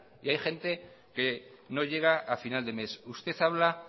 y hay gente que no llega a final de mes usted habla